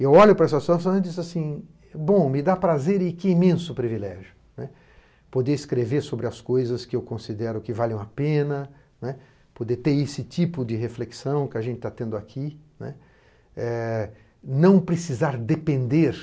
Eu olho para essa situação e digo assim, bom, me dá prazer e que imenso privilégio poder escrever sobre as coisas que eu considero que valham a pena, poder ter esse tipo de reflexão que a gente está tendo aqui, não precisar depender